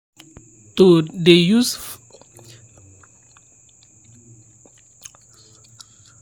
to dey use flly trap dey help reduce disease near where animals dey stay.